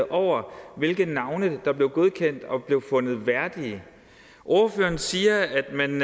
over hvilke navne der blev godkendt og blev fundet værdige ordføreren siger at det